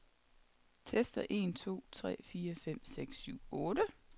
Tester en to tre fire fem seks syv otte.